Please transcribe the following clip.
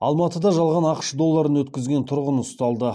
алматыда жалған ақш долларын өткізген тұрғын ұсталды